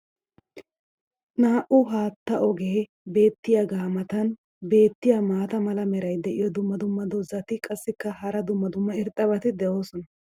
Naa'u haattaa ogee beetiyaagaa matan beetiya maata mala meray diyo dumma dumma qommo dozzati qassikka hara dumma dumma irxxabati doosona.